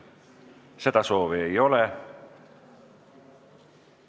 Seda soovi ei ole.